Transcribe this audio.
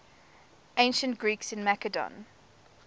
ancient greeks in macedon